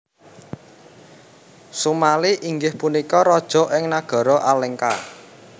Sumali inggih punika raja ing Nagara Alengka